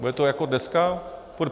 Bude to jak dneska?